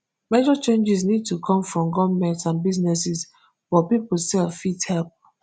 major changes need to come from goments and businesses but pipo sef fit help